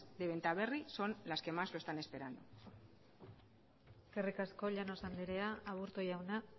de benta berri son las que más lo están esperando eskerrik asko llanos andrea aburto jauna